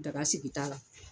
Daga sigi t'a la